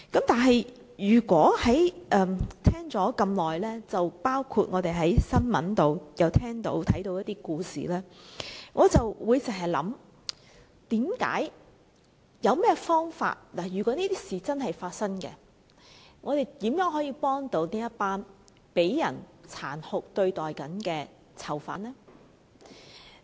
但是，我聽了很久，又曾在新聞報道看到一些故事，我心想有何方法處理，如果真有其事，我們如何幫助這群正被人殘酷對待的囚犯？